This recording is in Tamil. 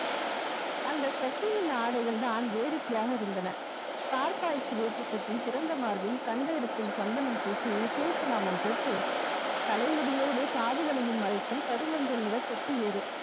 அந்த சசியின் ஆடைகள்தான் வேடிக்கையாக இருந்தன தார் பாய்ச்சி வேட்டி கட்டி திறந்த மார்பில் கண்ட இடத்தில் சந்தனம் பூசி சிவப்பு நாமம் போட்டு தலைமுடியோடு காதுகளையும் மறைக்கும் கருமஞ்சள் நிற தொப்பி வேறு